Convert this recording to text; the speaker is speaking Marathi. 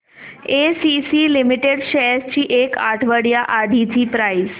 एसीसी लिमिटेड शेअर्स ची एक आठवड्या आधीची प्राइस